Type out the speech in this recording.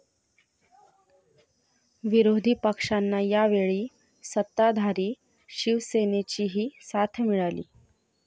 विरोधी पक्षांना यावेळी सत्ताधारी शिवसेनेचीही साथ मिळाली.